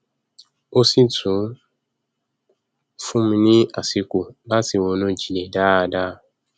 ó sì tún fún mi ní àsìkò láti ronú jinlẹ dáadáa